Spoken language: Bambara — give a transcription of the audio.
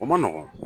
O ma nɔgɔn